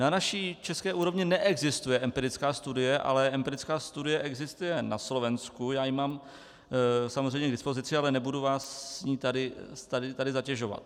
Na naší české úrovni neexistuje empirická studie, ale empirická studie existuje na Slovensku, já ji mám samozřejmě k dispozici, ale nebudu vás s ní tady zatěžovat.